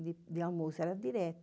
e almoço era direto.